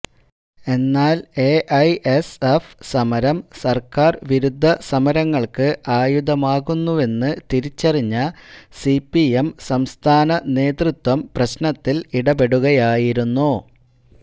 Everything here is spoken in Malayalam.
എന്നാല് എഐഎസ്എഫ് സമരം സര്ക്കാര് വിരുദ്ധ സമരങ്ങള്ക്ക് ആയുധമാകുന്നുവെന്ന് തിരിച്ചറിഞ്ഞ സിപിഎം സംസ്ഥാന നേതൃത്വം പ്രശ്നത്തില് ഇടപെടുകയായിരുന്നു